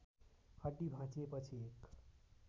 हड्डी भाँचिएपछि एक